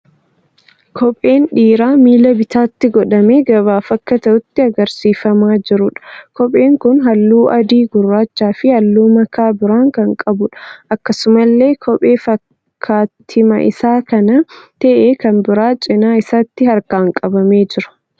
Kophee dhiiraa miila bitaatti godhamee gabaaf akka ta'utti agarsiifamaa jiruudha. Kopheen kun halluu adii, gurraachaa fi halluu makaa biraa kan qabuudha. Akkasuamllee kophee fakkaattiima isa kanaa ta'e kan biraan cina isaatti harkaan qabamee jira.